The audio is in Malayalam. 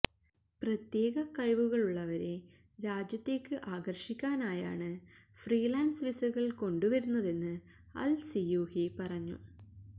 പ്രത്യേക കഴിവുകളുള്ളവരെ രാജ്യത്തേക്ക് ആകര്ഷിക്കാനായാണ് ഫ്രീലാന്സ് വിസകള് കൊണ്ടുവരുന്നതെന്ന് അല് സിയൂഹി പറഞ്ഞു